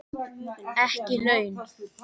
Ekki laun.